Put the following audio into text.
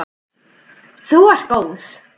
Þú ert góð!